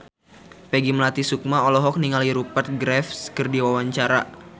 Peggy Melati Sukma olohok ningali Rupert Graves keur diwawancara